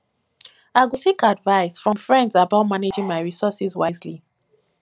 i go seek advice from friends about managing my resources wisely